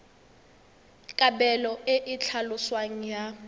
kabelo e e tlhaloswang ya